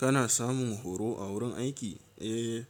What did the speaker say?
Kana samun horo a wurin aiki? Eh,